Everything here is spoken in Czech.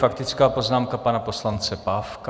Faktická poznámka pana poslance Pávka.